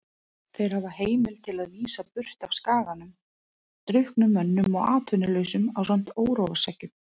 Þeir hafa heimild til að vísa burt af skaganum drukknum mönnum og atvinnulausum ásamt óróaseggjum.